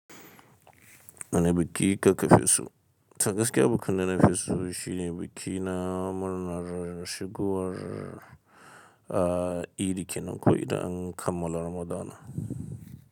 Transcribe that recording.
Wane biki kaka fiso. To gaskiya bikin da na keso shine buki na murna shigowar, ah, idi kenan ko idan kammala ramadana.